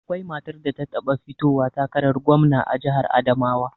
Akwai matar da ta taɓa fitowa takarar gwamna a jihar Adamawa